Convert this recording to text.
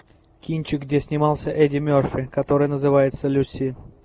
кинчик где снимался эдди мерфи который называется люси